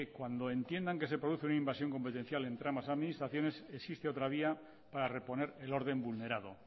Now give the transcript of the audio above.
cuando entiendan que se produce una invasión competencial entre ambas administraciones existe otra vía para reponer el orden vulnerado